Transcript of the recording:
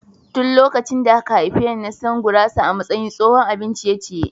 Tun lokacin da aka haife ni na san gurasa a matsayin tsohon abin ciye-ciye.